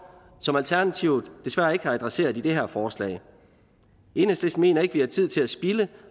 som alternativet desværre ikke har adresseret i det her forslag enhedslisten mener ikke mere tid at spilde